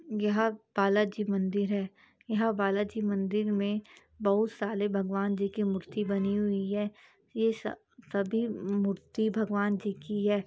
यहॉँ बालाजी मंदिर है यहाँ बालाजी मंदिर में बहुत सारे भगवान जी की मूर्ति बनी हुई है ये सब सभी मूर्ति भगवान जी की है।